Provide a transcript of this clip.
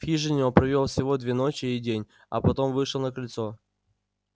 в хижине он провёл всего две ночи и день а потом вышел на крыльцо